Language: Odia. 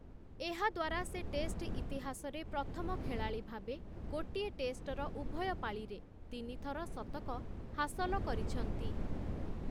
ଏହାଦ୍ୱାରା ସେ ଟେଷ୍ଟ ଇତିହାସରେ ପ୍ରଥମ ଖେଳାଳି ଭାବେ ଗୋଟିଏ ଟେଷ୍ଟର ଉଭୟ ପାଳିରେ ତିନି ଥର ଶତକ ହାସଲ କରିଛନ୍ତି ।